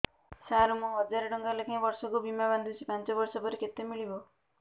ସାର ମୁଁ ହଜାରେ ଟଂକା ଲେଖାଏଁ ବର୍ଷକୁ ବୀମା ବାଂଧୁଛି ପାଞ୍ଚ ବର୍ଷ ପରେ କେତେ ମିଳିବ